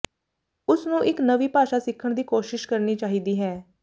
ਉਸਨੂੰ ਇੱਕ ਨਵੀਂ ਭਾਸ਼ਾ ਸਿੱਖਣ ਦੀ ਕੋਸ਼ਿਸ਼ ਕਰਨੀ ਚਾਹੀਦੀ ਹੈ